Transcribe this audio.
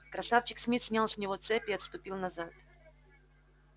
красавчик смит снял с него цепь и отступил назад